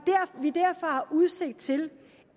udsigt til